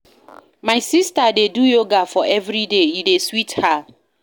My sista dey do yoga for everyday, e dey sweet her.